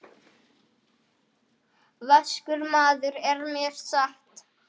Það kostar átök að lifa.